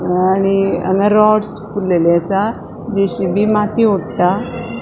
अ आणि हांगा रॉड्स पुरलेले असा जे.सी.बी माती वोत्ता.